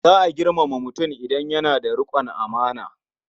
Za a girmama mutum idan yana da riƙon amana.